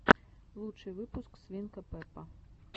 лучший выпуск свинка пеппа